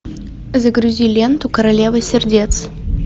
загрузи ленту королева сердец